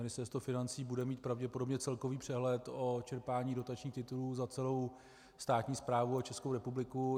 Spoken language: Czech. Ministerstvo financí bude mít pravděpodobně celkový přehled o čerpání dotačních titulů za celou státní správu a Českou republiku.